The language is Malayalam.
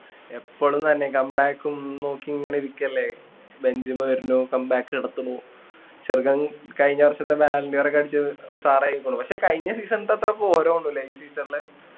എപ്പളും തന്നെ come back ഉം നോക്കി ഇങ്ങനെ ഇരിക്കല്ലേ ബെഞ്ചിമ വരണു come back നടത്തണു ചെറുക്കൻ കഴിഞ്ഞ വർഷത്തെ balloon d or ഒക്കെ അടിച്ച് star ആയിക്കുണു പക്ഷേ കഴിഞ്ഞ season തത്ര പോര തോന്നണുല്ലേ ഈ season ല്